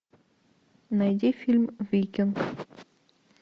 найди фильм викинг